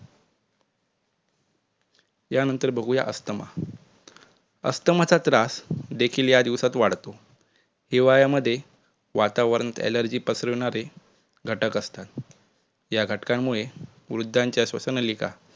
यानंतर बघूया अस्थमा, अस्थमाचा त्रास देखील या दिवसात वाढतो. हिवाळ्यामध्ये वातावरणात alargy पसरवणारे घटक असतात या घटकांमुळे वृद्धांच्या श्वसननलिका